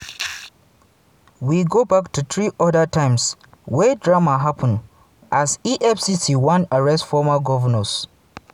we go back to three oda times wey drama happen as efcc bin wan arrest former govnors.